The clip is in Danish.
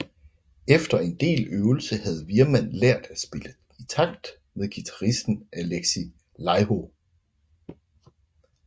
Efter en del øvelse havde Wirman lært at spille i takt med guitaristen Alexi Laiho